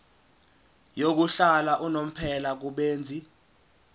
yokuhlala unomphela kubenzi